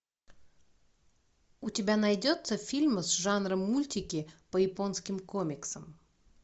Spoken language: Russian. у тебя найдется фильм с жанром мультики по японским комиксам